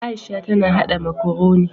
Aisha ta na haɗa makaroni.